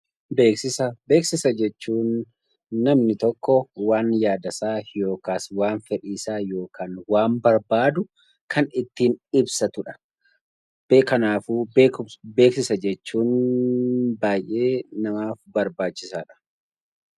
Beeksisa jechuun namni tokko waan yaadasaa yookaan waan fedhiisaa yookaan waan barbaadu kan ittiin ibsatudha. Kanaaf beeksisa jechuun baay'ee namaaf barbaachisaadha